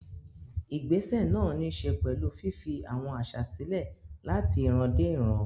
Ìgbésẹ̀ náà ní í ṣe pẹ̀lú fífi àwọn àṣà sílẹ̀ láti ìran dé ìran.